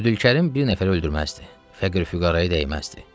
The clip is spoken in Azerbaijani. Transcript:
Əbdülkərim bir nəfəri öldürməzdi, Fəqir-füqaraya dəyməzdi.